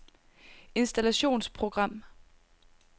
installationsprogram